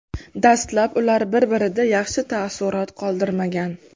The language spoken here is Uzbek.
Dastlab ular bir-birida yaxshi taassurot qoldirmagan.